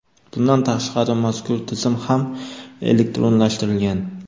Bundan tashqari, mazkur tizim ham elektronlashtirilgan.